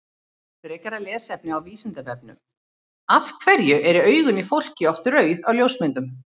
Frekara lesefni á Vísindavefnum Af hverju eru augun í fólki oft rauð á ljósmyndum?